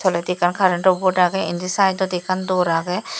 toledi ekkan current to board agey indi side dodi ekkan door agey.